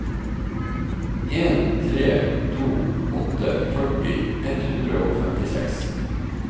en tre to åtte førti ett hundre og femtiseks